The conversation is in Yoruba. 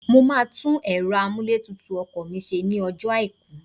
Mo máa tún ẹ̀rọ amúlétutù ọkọ̀ mi ṣe ní ọjọ́ àìkú